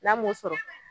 N'a m'o sɔrɔ